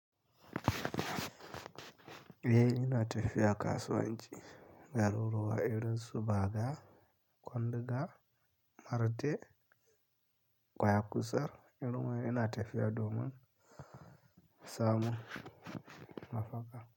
Eh ina tafiya kasuwanci, garuruwa, irin su Baga, Kwanduga, mare, Kwaya kusar irin wai ina tafiya domin samun mafaka.